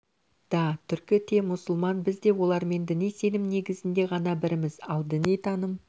да түркі те мұсылман біз де олармен діни сенім негізінде ғана бірміз ал діни таным